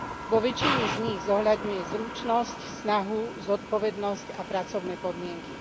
Vo väčšine z nich zohľadňuje zručnosť, snahu, zodpovednosť a pracovné podmienky.